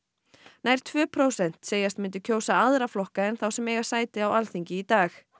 nær tvö prósent segjast myndu kjósa aðra flokka en þá sem eiga sæti á Alþingi í dag